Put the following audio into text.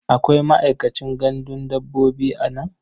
Akwai ma'aikacin gandun dabbobi a nan?